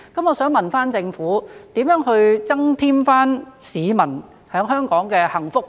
我想問政府，如何增添市民在香港的幸福感？